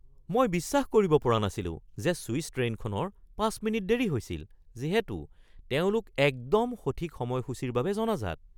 মই বিশ্বাস কৰিব পৰা নাছিলো যে চুইছ ট্ৰে'নখনৰ ৫ মিনিট দেৰি হৈছিল, যিহেতু তেওঁলোক একদম সঠিক সময়সূচীৰ বাবে জনাজাত।